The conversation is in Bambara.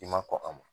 I ma kɔn a ma